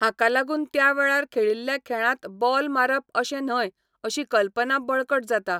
हाका लागून त्या वेळार खेळिल्ल्या खेळांत बॉल मारप अशें न्हय अशी कल्पना बळकट जाता.